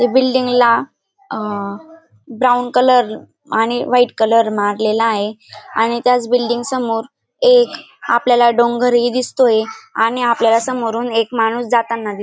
त्या बिल्डींगला अ ब्राऊन कलर आणि व्हाईट कलर मारलेला आहे आणि त्याच बिल्डिग समोर एक आपल्याला डोंगरहि दिसतोय आणि आपल्यलाला समोरून एक माणूस जाताना दिसतोय.